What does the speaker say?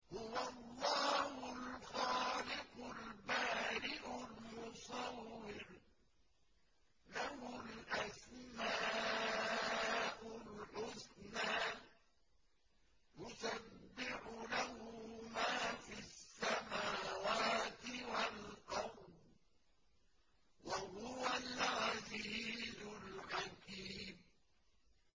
هُوَ اللَّهُ الْخَالِقُ الْبَارِئُ الْمُصَوِّرُ ۖ لَهُ الْأَسْمَاءُ الْحُسْنَىٰ ۚ يُسَبِّحُ لَهُ مَا فِي السَّمَاوَاتِ وَالْأَرْضِ ۖ وَهُوَ الْعَزِيزُ الْحَكِيمُ